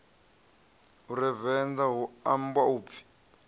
venḓa hu ambwa u pfi